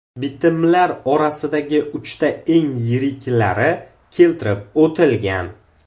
Bitimlar orasida uchta eng yiriklari keltirib o‘tilgan.